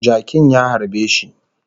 Jakin ya harbe shi